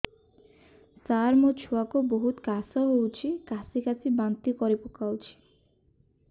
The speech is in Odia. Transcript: ସାର ମୋ ଛୁଆ କୁ ବହୁତ କାଶ ହଉଛି କାସି କାସି ବାନ୍ତି କରି ପକାଉଛି